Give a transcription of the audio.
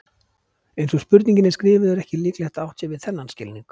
Eins og spurningin er skrifuð er ekki líklegt að átt sé við þennan skilning.